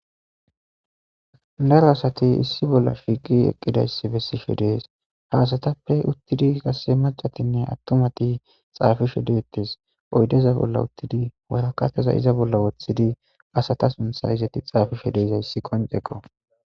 Daro assathi issi bolla shiqi eqidayssa bethishe dess. Ha assathape qassi maccathinne attumathi xapishe dethess. Etapekka oydeza bolla uttidi waraqatheza oyqidi assatha suntha xapishe dizayssa qoncekko.